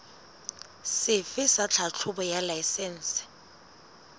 sefe sa tlhahlobo ya laesense